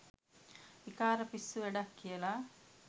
විකාර පිස්සු වැඩක් කියලා.